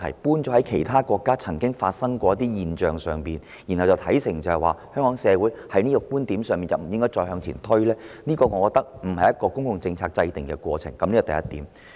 否則，以其他國家曾經出現此現象為理由，認定香港社會在這問題上不宜再作推進，我認為並不是制訂公共政策的應有做法。